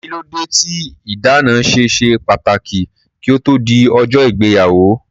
Kílódé tí ìdáná ṣe ṣe pàtàkì kí ó tó di ọjọ́ ìgbéyàwó?